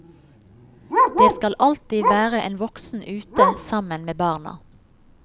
Det skal alltid være en voksen ute sammen med barna.